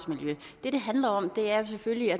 er